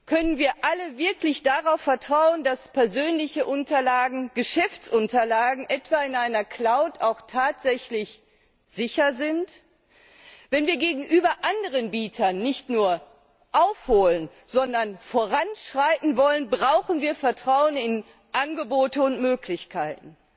Können wir alle wirklich darauf vertrauen, dass persönliche Unterlagen Geschäftsunterlagen etwa in einer Cloud auch tatsächlich sicher sind? Wenn wir gegenüber anderen Bietern nicht nur aufholen, sondern voranschreiten wollen, brauchen wir Vertrauen in Angebote und Möglichkeiten.